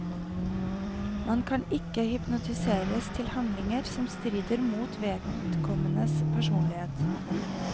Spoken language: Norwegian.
Man kan ikke hypnotiseres til handlinger som strider mot vedkommendes personlighet.